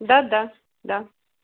да да да